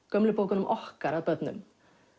gömlu bókunum okkar að börnum